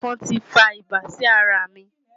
Ẹ̀fọn tí fa ibà sí ara mi.